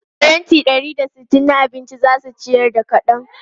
Faranti ɗari da sittin na abinci za su ciyar da kaɗan.